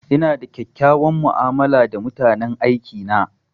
Ina da kyakkyawan mu'amala da mutanen aiki na.